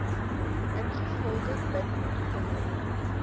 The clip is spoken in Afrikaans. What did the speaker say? ingevolge bin dende